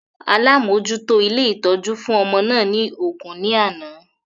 Alamojuto ilé ìtọ́jú fún ọmọ náà ni ògún ní àná